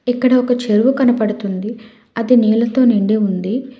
ఇక్కడ ఒక చెరువు కనబడుతుంది అది నీళ్లతో నిండి ఉంది.